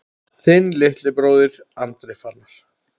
Þinn litli bróðir, Andri Fannar.